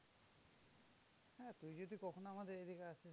হ্যাঁ তুই যদি কখনো আমাদের এইদিকে আসিস